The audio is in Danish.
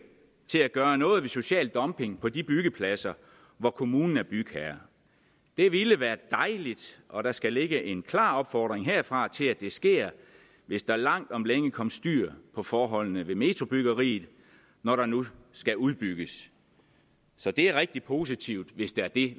til at gøre noget ved social dumping på de byggepladser hvor kommunen er bygherre det ville være dejligt og der skal ligge en klar opfordring herfra til at det sker hvis der langt om længe kommer styr på forholdene ved metrobyggeriet når der nu skal udbygges så det er rigtig positivt hvis der i